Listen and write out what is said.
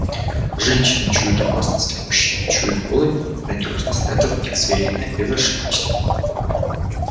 женщины чуют опасность в мужчине чуют голод и ненадёжность это в них звериное безошибочное